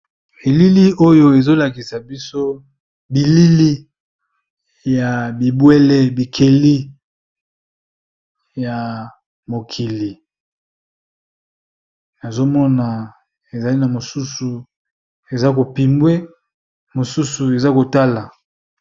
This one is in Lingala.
Elili oyo ezolakisa biso bilili ya bibwele bikeli ya mokili nazomona ezali na mosusu eza ko pimbwe mosusu eza kotala.